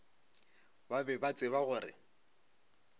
ba be ba tseba gore